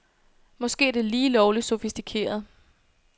Måske er det lige lovligt sofistikeret.